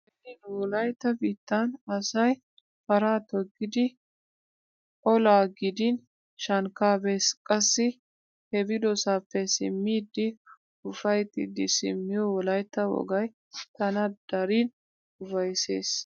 Beni nu wolaytta biittan asay paraa toggidi oalaa gidin shankkaa bees. Qassi he biidosappe simmiiddi ufayttiiddi simmiyo wolaytta wogay tana dariin ufayssees.